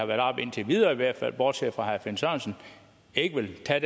været oppe indtil videre i hvert fald bortset fra herre finn sørensen ikke vil tage